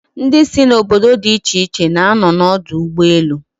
Ndi si n'obodo di iche iche na-ano n'odu ugboelu